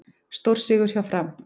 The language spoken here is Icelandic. Stórsigur hjá Fram